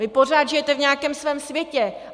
Vy pořád žijete v nějakém svém světě.